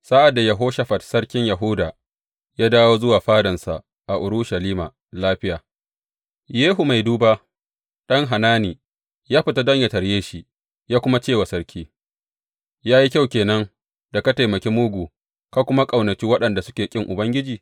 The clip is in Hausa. Sa’ad da Yehoshafat sarkin Yahuda ya dawo zuwa fadansa a Urushalima lafiya, Yehu mai duba, ɗan Hanani, ya fita don yă tarye shi, ya kuma ce wa sarki, Ya yi kyau ke nan da ka taimaki mugu ka kuma ƙaunaci waɗanda suke ƙin Ubangiji?